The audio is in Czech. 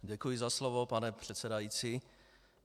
Děkuji za slovo, pane předsedající.